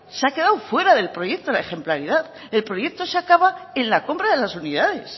se ha quedado fuera del proyecto la ejemplaridad el proyecto se acaba en la compra de las unidades